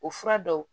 O fura dɔw